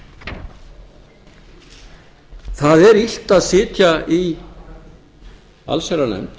réði það er illt að sitja í allsherjarnefnd